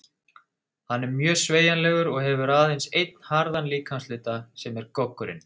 Hann er mjög sveigjanlegur og hefur aðeins einn harðan líkamshluta, sem er goggurinn.